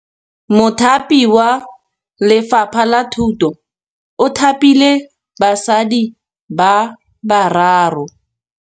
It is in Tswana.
Mothapi wa Lefapha la Thutô o thapile basadi ba ba raro.